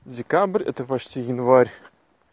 декабрь это почти январь